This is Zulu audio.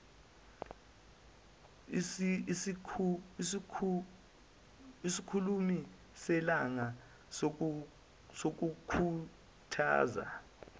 isikhulumi selanga sokukhuthaza